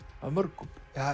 mörgum